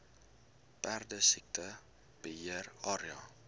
perdesiekte beheer area